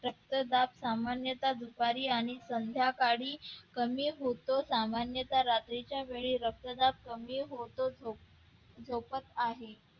रक्तदाब सामान्यतः सकाळी आणि संध्याकाळी कमी होतो सामान्यतः रात्रीच्या वेळी रक्तदाब कमी होतो तो सोबत आहे.